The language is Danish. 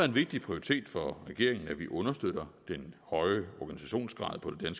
en vigtig prioritet for regeringen at vi understøtter den høje organisationsgrad på det